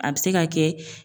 A bɛ se ka kɛ